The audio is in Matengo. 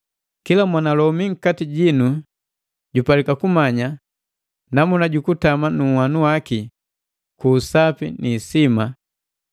Kila mwanalomi nkati jinu jupalika kumanya namuna ju kutama nu nhwanu waki ku usapi ni isima,